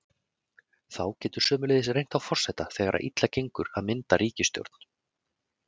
Þá getur sömuleiðis reynt á forseta þegar þegar illa gengur að mynda ríkisstjórn.